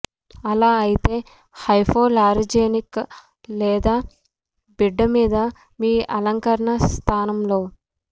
అలా అయితే హైపోలారిజెనిక్ లేదా బిడ్డ మీద మీ అలంకరణ స్థానంలో